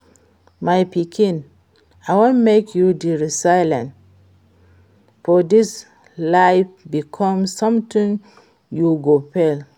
My pikin, I wan make you dey resilient for dis life because sometimes you go fail